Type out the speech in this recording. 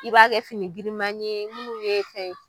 I b'a kɛ fini girima ye munnu ye fɛn.